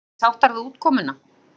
Eruð þið sáttar við útkomuna?